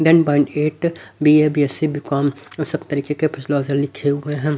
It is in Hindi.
Then point eight B A B S C B com uh सब तरीके के प्रश्न आंसर लिखे हुए हैं।